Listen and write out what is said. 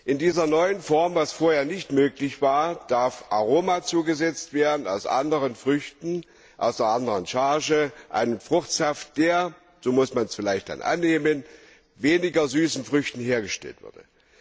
In dieser neuen Form darf was vorher nicht möglich war Aroma zugesetzt werden aus anderen Früchten, aus einer anderen Charge, einem Fruchtsaft, der, so muss man es vielleicht dann annehmen, aus weniger süßen Früchten hergestellt würde.